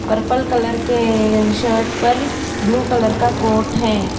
Purple colour के अअ shirt पर ब्लू कलर का कोट है।